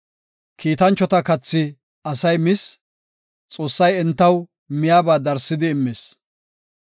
Kiitanchota kathi asay mis; Xoossay entaw miyaba darsidi immis.